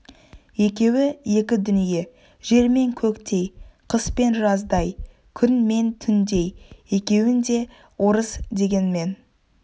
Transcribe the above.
екеуі екі дүние жер мен көктей қыс пен жаздай күн мен түндей екеуін де орыс дегенмен